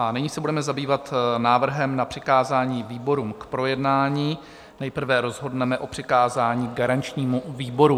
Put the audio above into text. A nyní se budeme zabývat návrhem na přikázání výborům k projednání, nejprve rozhodneme o přikázání garančnímu výboru.